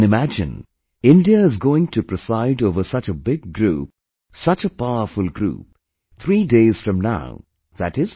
You can imagine India is going to preside over such a big group, such a powerful group, 3 days from now i